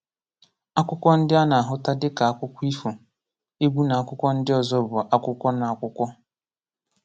Akwụkwọ ndị a na-ahụta dịka akụkọ ifo, egwu na akwụkwọ ndị ọzọ bụ akwụkwọ n'akwụkwọ.